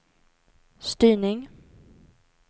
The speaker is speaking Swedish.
styrning